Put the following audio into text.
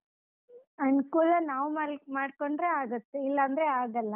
ಅನುಕೂಲ ನಾವ್ ಮಾ~ ಮಾಡ್ಕೊಂಡ್ರೆ ಆಗುತ್ತೆ ಇಲ್ಲಾ ಅಂದ್ರೆ ಆಗಲ್ಲ.